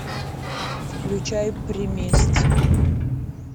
включай примесь